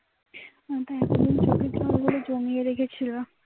বলে জমিয়ে রেখেছিল